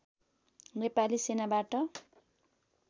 Nepali सेनाबाट